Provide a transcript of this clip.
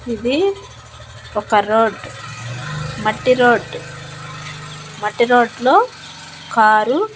ఇది ఒక రోడ్ మట్టి రోడ్ మట్టి రోడ్ లో కారు --